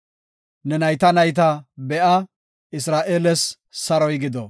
Ne nayta nayta be7a! Isra7eeles saroy gido!